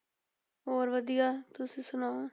ਹੋਰ ਵਧੀਆ, ਤੁਸੀਂ ਸੁਣਾਓ।